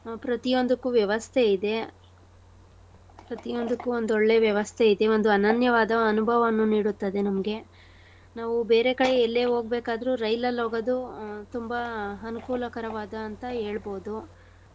ಹ ಪ್ರತಿಯೊಂದಕ್ಕು ವ್ಯವಸ್ಥೆ ಇದೆ. ಪ್ರತಿಯೊಂದಕ್ಕೂ ಒಂದೊಳ್ಳೆ ವ್ಯವಸ್ಥೆ ಇದೆ. ಒಂದು ಅನನ್ಯವಾದ ಅನುಭವವನ್ನುನೀಡುತ್ತದೆ ನಮ್ಗೆ. ನಾವು ಬೇರೆ ಕಡೆ ಎಲ್ಲೇ ಹೋಗ್ಬೇಕಾದ್ರು ರೈಲಲ್ ಹೋಗೋದು ಆ ತುಂಬಾ ಅನುಕೂಲಕರವಾದ ಅಂತ ಹೇಳ್ಬೋದು.